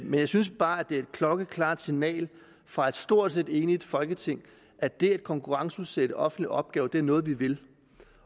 men jeg synes bare at det er et klokkeklart signal fra et stort set enigt folketing at det at konkurrenceudsætte offentlige opgaver er noget vi vil